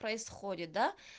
происходит да